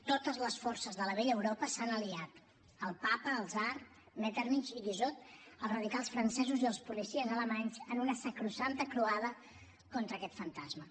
totes les forces de la vella europa s’han aliat el papa el tsar metternich i guizot els radicals francesos i els policies alemanys en una sacrosanta croada contra aquest fantasma